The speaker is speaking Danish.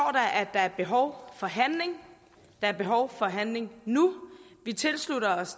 der er behov for handling der er behov for handling nu vi tilslutter os